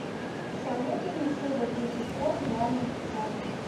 посоветуй мне серия тридцать пять реальные пацаны